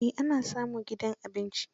Eh ana samun gidan abinci.